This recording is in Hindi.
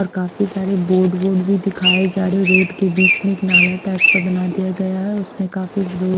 और काफी सारे बोर्ड वोर्ड भी दिखाये जा रहे है रोड के बीच में एक नाला टाइप का बना दिया गया है उसमें काफी रु--